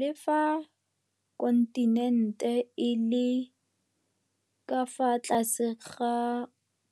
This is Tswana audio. Le fa kontinente e le ka fa tlase ga